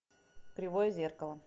кривое зеркало